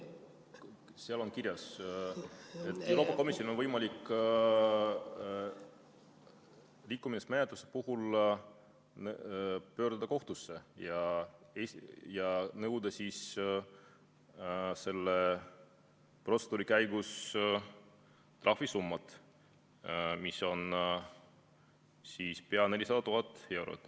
Seal on kirjas, et Euroopa Komisjonil on võimalik rikkumismenetluste puhul pöörduda kohtusse ja nõuda selle protseduuri käigus trahvisummat, mis on pea 400 000 eurot.